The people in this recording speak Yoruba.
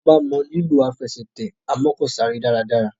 Toba mọ lilọ Àfẹsẹ̀tẹ̀ amọ́kọ̀sáré dára dára.